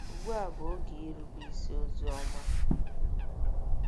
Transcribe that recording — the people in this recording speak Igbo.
Ugbu a Bụ Oge “Irube Isi Ozi Ọma”